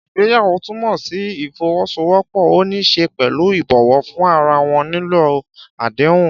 Ìgbéyàwó túmọ̀ sí ìfọwọ́sowọ́pọ̀, ó ní í ṣe pẹ̀lú ìbọ̀wọ̀ fún ara wọn, nílò àdéhùn.